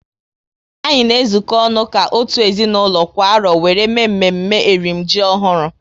Anyị na ezuko ọnụ ka otu ezinaụlọ kwa arọ wéré mee mme mme eri m ji ọhụrụ